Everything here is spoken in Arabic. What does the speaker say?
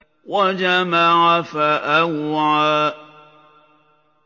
وَجَمَعَ فَأَوْعَىٰ